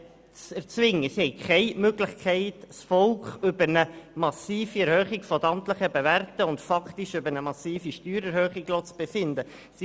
Sie haben keine Möglichkeit, das Volk über eine massive Erhöhung der amtlichen Werte und faktisch über eine massive Steuererhöhung befinden zu lassen.